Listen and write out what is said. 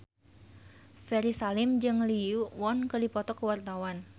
Ferry Salim jeung Lee Yo Won keur dipoto ku wartawan